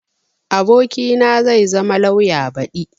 abokina zai zama lauya badi